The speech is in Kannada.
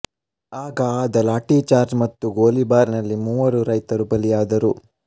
ಆಗ ಆದ ಲಾಠೀಚಾರ್ಜ್ ಮತ್ತು ಗೋಲಿಬಾರ್ ನಲ್ಲಿ ಮೂವರು ರೈತರು ಬಲಿಯಾದರು